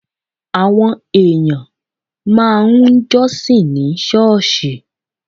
Àwọn èèyàn máa ń jọ́sìn ní ṣọ́ọ̀ṣì.